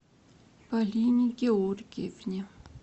полине георгиевне